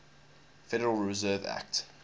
federal reserve act